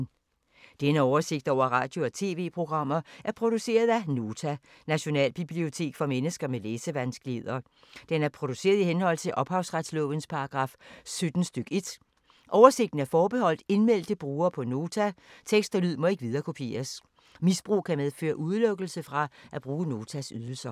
Denne oversigt over radio og TV-programmer er produceret af Nota, Nationalbibliotek for mennesker med læsevanskeligheder. Den er produceret i henhold til ophavsretslovens paragraf 17 stk. 1. Oversigten er forbeholdt indmeldte brugere på Nota. Tekst og lyd må ikke viderekopieres. Misbrug kan medføre udelukkelse fra at bruge Notas ydelser.